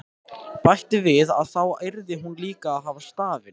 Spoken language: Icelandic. Bætti við að þá yrði hún líka að hafa stafinn.